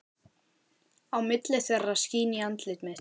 Á milli þeirra skín í andlit mitt.